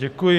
Děkuji.